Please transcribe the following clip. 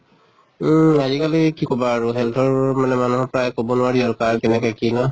উম আজি কালি কি কʼবা আৰু health ৰ মানে মানুহৰ প্ৰায় কʼব নোৱাৰি আৰ কাৰ কেনেকে কি ন?